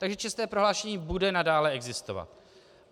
Takže čestné prohlášení bude nadále existovat.